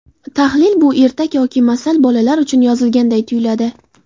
Tahlil Bu ertak yoki masal bolalar uchun yozilganday tuyuladi.